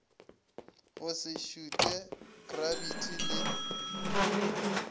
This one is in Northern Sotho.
go se šuthe krabiti le